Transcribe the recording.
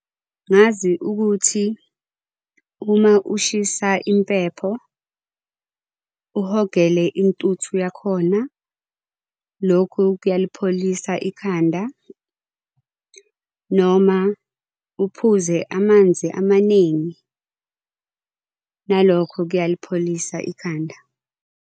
Ngazi ukuthi uma ushisa impepho uhogele intuthu yakhona, lokhu kuyalipholisa ikhanda noma uphuze amanzi amaningi. Nalokho kuyalipholisa ikhanda.